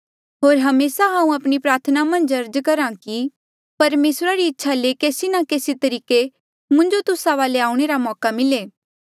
होर हमेसा हांऊँ आपणी प्रार्थना मन्झ अर्ज करहा कि परमेसरा री इच्छा ले केसी ना केसी तरीके मुंजो तुस्सा वाले आऊणें रा मौका मिले